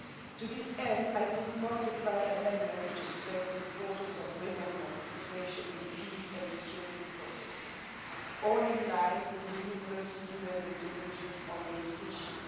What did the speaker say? To this end, I have tabled multiple amendments to stress the importance of women's participation in peace and security processes, all in line with the numerous UN resolutions on this issue.